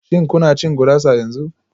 Shin kuna cin gurasa yanzu?